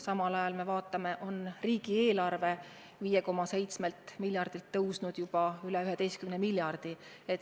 Samal ajal me näeme, et riigieelarve on 5,7 miljardilt kasvanud juba üle 11 miljardi.